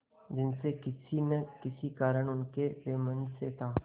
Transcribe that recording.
जिनसे किसी न किसी कारण उनका वैमनस्य था